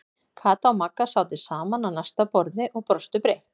Kata og Magga sátu saman á næsta borði og brostu breitt.